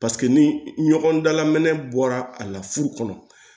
Paseke ni ɲɔgɔn dalaminɛ bɔra a la furu kɔnɔ